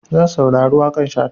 Zan saurari waƙar Shata.